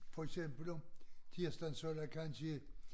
For eksempel om tirsdagen så der kansje